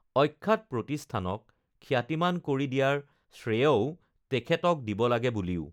অখ্যাত প্ৰতিষ্ঠানক খ্যাতিমান কৰি দিয়াৰ শ্ৰেয়ও তেখেতোক দিব লাগে বুলিও